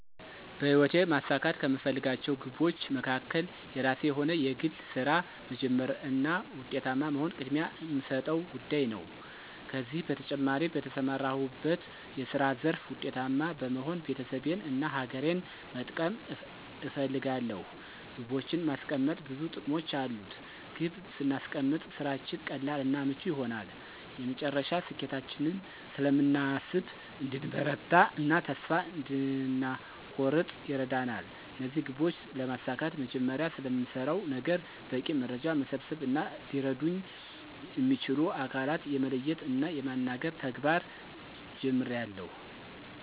በሕይወቴ ማሳካት ከምፈልጋቸው ግቦች መካከል የራሴ የሆነ የግል ሥራ መጀመር እና ዉጤታማ መሆን ቅድሚያ እምሰጠው ጉዳይ ነው። ከዚህ በተጨማሪ በተሰማራሁበት የስራ ዘርፍ ዉጤታማ በመሆን ቤተሰቤን እና ሀገሬን መጥቀም እፈልጋለሁ። ግቦችን ማስቀመጥ ብዙ ጥቅሞች አሉት። ግብ ስናስቀምጥ ስራችን ቀላል እና ምቹ ይሆናል፤ የመጨረሻ ስኬታችንን ስለምናስብ እንድንበረታ እና ተስፋ እንዳንኮርጥ ይረዳናል። እነዚህን ግቦች ለማሳካት መጀመሪያ ስለምሰራው ነገር በቂ መረጃ መሰብሰብ እና ሊረዱኝ እሚችሉ አካላትን የመለየት እና የማናገር ተግባር ጀምሬአለሁ።